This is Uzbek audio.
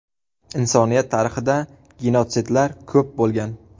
Insoniyat tarixida genotsidlar ko‘p bo‘lgan.